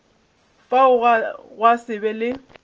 fao gwa se be le